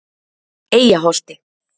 Eyjaholti